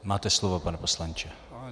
Máte slovo, pane poslanče.